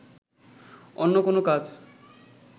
অন্য কোনো কাজ